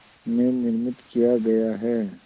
में निर्मित किया गया है